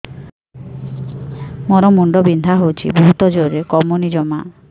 ମୋର ମୁଣ୍ଡ ବିନ୍ଧା ହଉଛି ବହୁତ ଜୋରରେ କମୁନି ଜମା